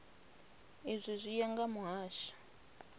izwi zwi ya nga mihasho